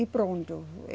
E pronto.